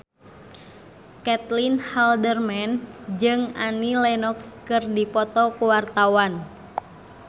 Caitlin Halderman jeung Annie Lenox keur dipoto ku wartawan